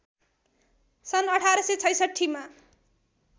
सन् १८६६ मा